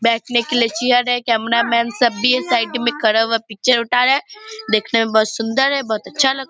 बैठने के लिए चेयर है कैमरा मैन सब भी है साइड में खड़ा हुआ पिक्चर उठा रहे है देखने में बहोत सुन्दर है बहोत अच्छा लग --